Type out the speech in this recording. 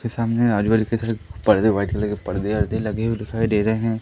के सामने आजू बाजू कई सारे पर्दे वाइट कलर के परदे वरदे लगे हुए दिखाई दे रहे--